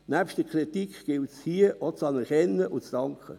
Nebst der Kritik gilt es hier auch zu anerkennen und zu danken.